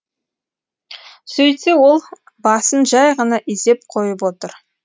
сөйтсе ол басын жай ғана изеп қойып отыр